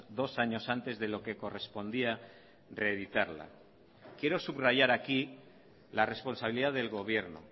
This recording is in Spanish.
dos años antes de lo que correspondía reeditarla quiero subrayar aquí la responsabilidad del gobierno